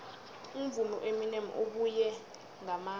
umvumi ueminem ubuye ngamandla